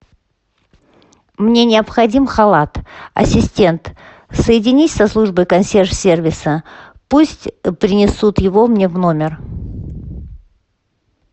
мне необходим халат ассистент соединись со службой консьерж сервиса пусть принесут его мне в номер